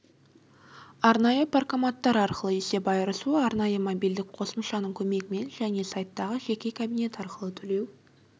арнайы паркоматтар арқылы есеп айырысу арнайы мобильдік қосымшаның көмегімен және сайттағы жеке кабинет арқылы төлеу